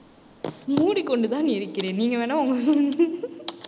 மூடிக்கொண்டுதான் இருக்கிறேன். நீங்க வேணா உங்க~